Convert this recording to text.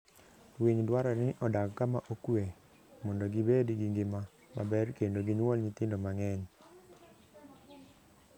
Winy dwarore ni odag kama okuwe mondo gibed gi ngima maber kendo ginyuol nyithindo mang'eny.